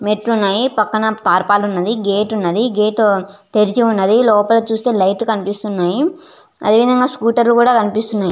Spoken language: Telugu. మెట్లు వున్నాయి పక్కన వున్నాయి పక్కనే గేట్ వున్నది గేట్ తెరిచి వున్నాయి లోపల చూస్తే లైట్ లు కనిపిస్తునాయి అదేవిదంగా స్కూటర్ లు కూడ కనిపిస్తునాయి.